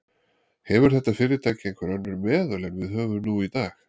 Hefur þetta fyrirtæki einhver önnur meðöl en við höfum nú í dag?